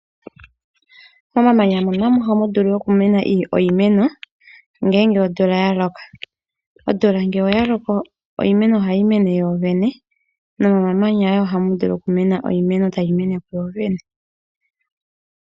Momamanya moka ohamu vulu okumena iimeno ngele omvula yaloko. Omvula ngele yaloko iimeno ohayi mene yoyene nomomamanya ohamu vulu okumena iimeno tayi mene yoyene.